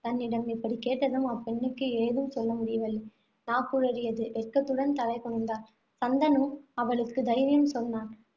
தன்னிடம் இப்படி கேட்டதும், அப்பெண்ணுக்கு ஏதும் சொல்ல முடியவில்லை. நாக்குழறியது. வெட்கத்துடன் தலை குனிந்தாள். சந்தனு அவளுக்கு தைரியம் சொன்னான்.